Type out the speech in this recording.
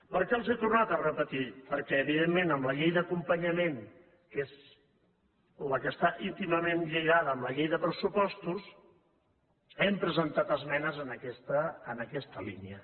per què els he tornat a repetir perquè evidentment amb la llei d’acompanyament que és la que està íntimament lligada amb la llei de pressupostos hem presentat esmenes en aquesta línia